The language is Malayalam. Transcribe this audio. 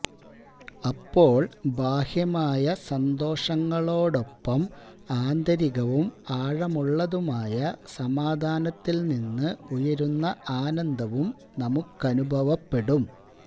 അപ്പോള് ബാഹ്യമായ സന്തോഷങ്ങളോടൊപ്പം ആന്തരികവും ആഴമുള്ളതുമായ സമാധാനത്തില് നിന്ന് ഉയരുന്ന ആനന്ദവും നമുക്കനുഭവപ്പെടും